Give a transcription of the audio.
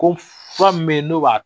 Ko fura min bɛ yen n'o b'a